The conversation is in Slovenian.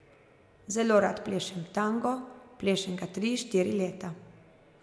Zelo rad plešem tango, plešem ga tri, štiri leta.